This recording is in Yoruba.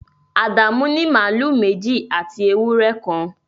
Adamu ní màlúù méjì àti ewúrẹ́ kan